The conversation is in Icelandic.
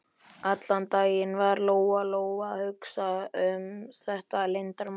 Allan daginn var Lóa Lóa að hugsa um þetta leyndarmál Heiðu.